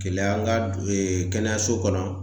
Keleya an ga du ee kɛnɛyaso kɔnɔ